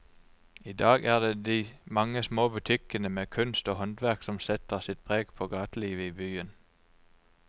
I dag er det de mange små butikkene med kunst og håndverk som setter sitt preg på gatelivet i byen.